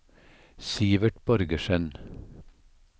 Sivert Borgersen